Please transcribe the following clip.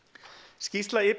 skýrsla